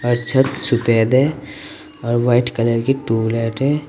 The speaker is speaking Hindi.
और छत सूफेद है और वाइट कलर की ट्यूबलाइट है।